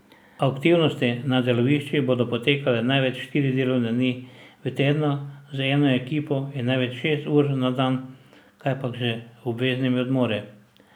Aktivnosti na deloviščih bodo potekale največ štiri delovne dni v tednu z eno ekipo in največ šest ur na dan, kajpak z obveznimi odmori.